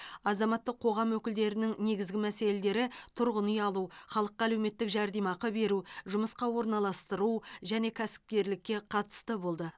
азаматтық қоғам өкілдерінің негізгі мәселелері тұрғын үй алу халыққа әлеуметтік жәрдемақы беру жұмысқа орналастыру және кәсіпкерлікке қатысты болды